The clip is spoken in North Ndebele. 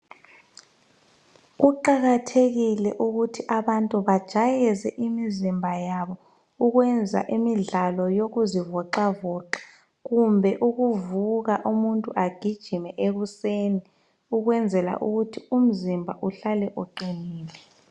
Kuqakathekile ukuthi abantu bajayeze imizimba yabo ukwenza imidlalo yokuzivoxavoxa kumbe ukuvuka umuntu agijime ekuseni ukwenzela ukuthi umzimba uhlale uqinile.